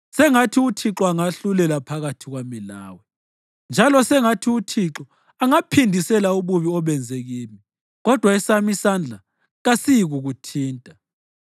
Sengathi uThixo angahlulela phakathi kwami lawe. Njalo sengathi uThixo angaphindisela ububi obenze kimi, kodwa esami isandla kasiyikukuthinta.